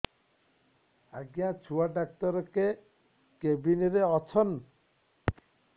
ଆଜ୍ଞା ଛୁଆ ଡାକ୍ତର କେ କେବିନ୍ ରେ ଅଛନ୍